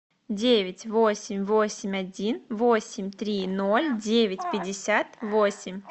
девять восемь восемь один восемь три ноль девять пятьдесят восемь